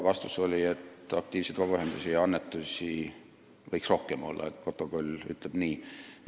Vastus oli, et aktiivseid vabaühendusi ja annetusi võiks rohkem olla – protokoll ütleb nii.